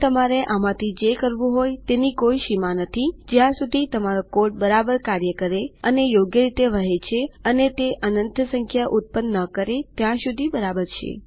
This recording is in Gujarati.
અને તમારે આમાંથી જે કરવું હોય એ આની કોઈ સીમા નથીજ્યાં સુધી તમારો કોડ બરાબર કાર્ય કરે છે અને યોગ્ય રીતે વહે છે અને તે અનંત સંખ્યા ઉત્પન્ન ન કરેત્યાં સુધી બરાબર છે